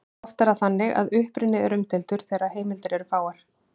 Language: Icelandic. Oft er það þannig að uppruni er umdeildur þegar heimildir eru fáar.